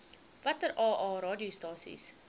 watter aa radiostasies